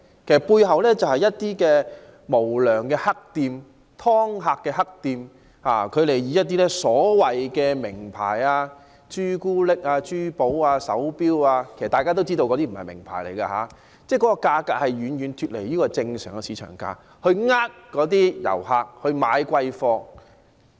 其實背後就是一些無良黑店、"劏客"的黑店，以一些所謂"名牌"，包括朱古力、珠寶、手錶等作招徠，其實大家也知道那些都不是名牌，但其價格卻遠遠脫離正常的市場價格，從而欺騙遊客買貴貨。